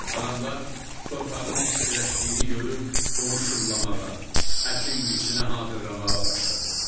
Adamlar torpağın istiləşdiyini görüb onu şumlamağa, əkin-biçinə hazırlamağa başladılar.